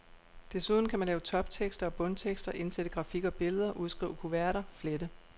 Desuden kan man lave toptekster og bundtekster, indsætte grafik og billeder, udskrive kuverter, flette.